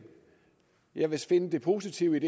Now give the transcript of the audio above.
jeg vil finde det positive